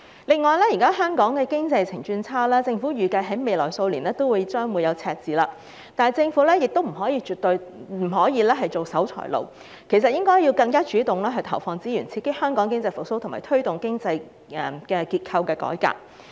現時，香港經濟在疫情下轉差，政府預計未來數年都會出現赤字，但政府絕不可當守財奴，應該更主動投放資源，刺激香港經濟復蘇，推動經濟結構改革。